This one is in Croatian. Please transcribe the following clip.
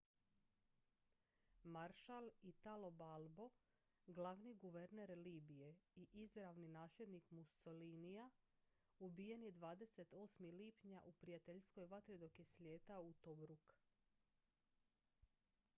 maršal italo balbo glavni guverner libije i izravni nasljednik mussolinija ubijen je 28. lipnja u prijateljskoj vatri dok je slijetao u tobruk